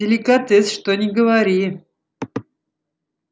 деликатес что ни говори